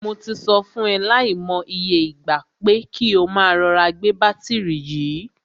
Mo ti sọ fún e lai mo iye ìgbà, pé kí o máa rọra gbé bátìrì yìí.